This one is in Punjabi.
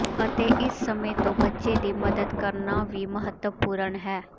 ਅਤੇ ਇਸ ਸਮੇਂ ਤੋਂ ਬੱਚੇ ਦੀ ਮਦਦ ਕਰਨਾ ਵੀ ਮਹੱਤਵਪੂਰਨ ਹੈ